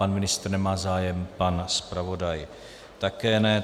Pan ministr nemá zájem, pan zpravodaj také ne.